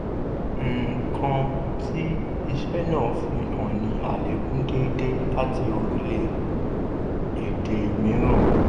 nǹkan tí isẹ́ náà fi hàn ní àlékún déédéé láti orílẹ̀ èdè mìíràn.